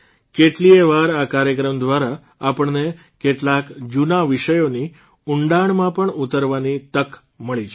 કેટલીયે વાર આ કાર્યક્રમ દ્વારા આપણને કેટલાક જૂના વિષયોની ઉંડાણમાં પણ ઉતરવાની તક મળી છે